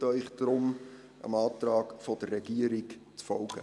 Ich bitte Sie deshalb, dem Antrag der Regierung zu folgen.